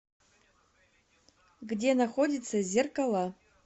где находится зеркала